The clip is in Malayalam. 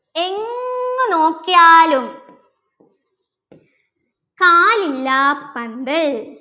എങ്ങു നോക്കിയാലും കാലില്ലാപ്പന്തൽ